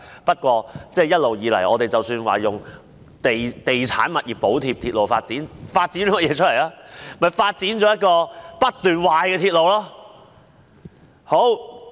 不過，一直以來，我們以地產物業補貼鐵路發展，但究竟發展了甚麼？